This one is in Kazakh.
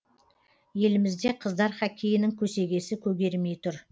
елімізде қыздар хоккейінің көсегесі көгермей тұр